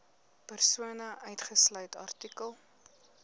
persone uitgesluit artikel